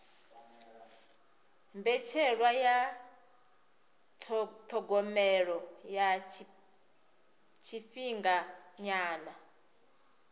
mbetshelwa ya thogomelo ya tshifhinganyana